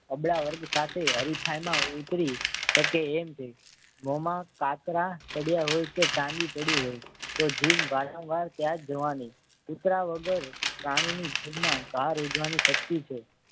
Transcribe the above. અબળા વર્ગ સાથે હરીફાઈમાં ઉતરી શકે એમ છે મોમાં કાતરા પડ્યા હોય કે ચાંદી પડી હોય તો જીભ વારંવાર ત્યાં જ જવાની જીથરા વગર પાણીની જીભમાં કાર ઉજવણી શક્તિ છે.